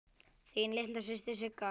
Þín litla systir Sigga.